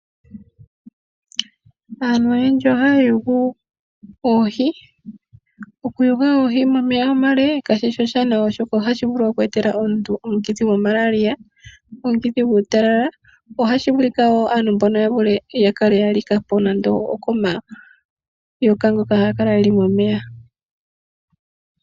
Aantu oyendji ohaya yugu oohi. Okuyuga oohi momeya omale ka shi shi oshiwanawa oshoka ohashi vulu oku etela omuntu omukithi goMalaria, omukithi guutalala. Ohashi vulika wo aantu mbono ya vule, ya kale ya like po nande okomayoka ngoka haga kala ge li momeya.